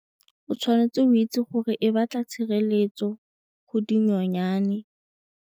O tshwanetse o itse gore e batla tshireletso go dinyonyane.